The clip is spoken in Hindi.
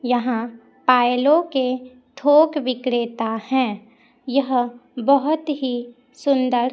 यहां पायलों के थोक विक्रेता है यह बहुत ही सुंदर--